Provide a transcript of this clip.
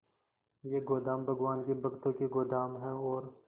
ये गोदाम भगवान के भक्तों के गोदाम है और